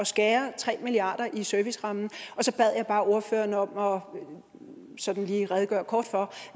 skære tre milliarder i servicerammen og så bad jeg bare ordføreren om sådan lige at redegøre kort for